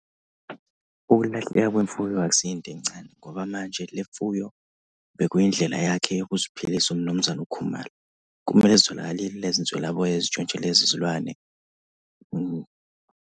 Ukulahleka kwemfuyo akusiyo into encane, ngoba manje le mfuyo bekuyindlela yakhe ukuziphilisa uMnumzane uKhumalo. Kumele zitholakalile lezi nswelaboya ezintshontshe lezi zilwane.